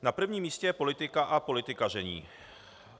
Na prvním místě je politika a politikaření.